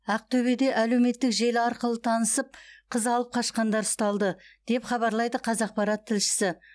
ақтөбеде әлеуметтік желі арқылы танысып қыз алып қашқандар ұсталды деп хабарлайды қазақпарат тілшісі